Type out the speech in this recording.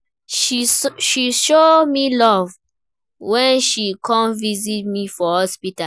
She show me love wen she come visit me for hospital.